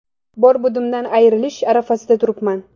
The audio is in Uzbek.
Bor-budimdan ayrilish arafasida turibman.